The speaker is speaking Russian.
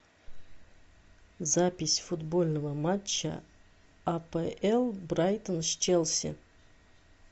запись футбольного матча апл брайтон с челси